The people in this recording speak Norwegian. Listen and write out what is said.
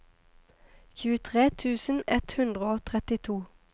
tjuetre tusen ett hundre og trettito